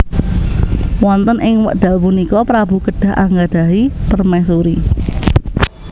Wonten ing wekdal punika prabu kedah anggadhahi permaisuri